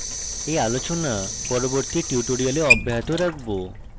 we আলোচনা পরবর্তী tutorial অব্যাহত রাখবো